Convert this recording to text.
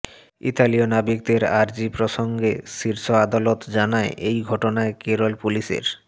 ইতালীয় নাবিকদের আর্জি প্রসঙ্গে শীর্ষ আদালত জানায় এই ঘটনায় কেরল পুলিসের